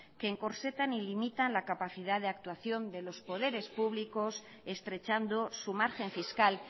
que encorsetan y limitan la capacidad de actuación de los poderes públicos estrechando su margen fiscal